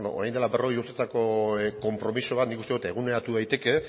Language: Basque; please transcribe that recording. orain dela berrogei urteetako konpromiso bat nik uste dut eguneratu daiteke